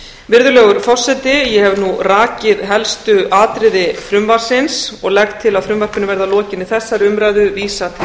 virðulegur forseti ég hef nú rakið helstu atriði frumvarpsins og legg til að frumvarpinu verði að lokinni þessari umræðu vísað til